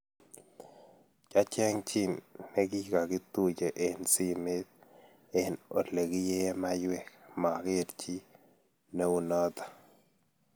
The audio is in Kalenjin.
Kyacheng chii nikagituiye eng simet eng olegiie maywek ,mageer chi neunoto